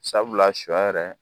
Sabula sɔ yɛrɛ